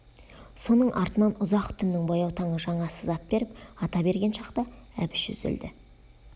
соның артынан ұзақ түннің баяу таңы жаңа сызат беріп ата берген шақта әбіш үзілді